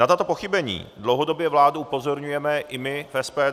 Na tato pochybení dlouhodobě vládu upozorňujeme i my v SPD.